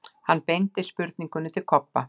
Hann beindi spurningunni til Kobba.